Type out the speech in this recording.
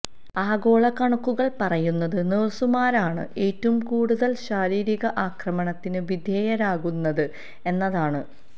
ആഗോള കണക്കുകൾ പറയുന്നത് നഴ്സുമാരാണ് ഏറ്റവും കൂടുതൽ ശാരീരിക അക്രമത്തിന് വിധേയരാകുന്നത് എന്നതാണ്